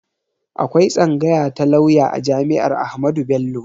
Akwai tsangaya ta lauya a jami'ar Ahmadu Bello